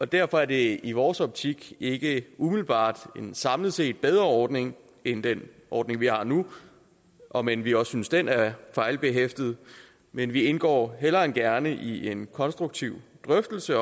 derfor er det i vores optik ikke umiddelbart en samlet set bedre ordning end den ordning vi har nu om end vi også synes den er fejlbehæftet men vi indgår hellere end gerne i en konstruktiv drøftelse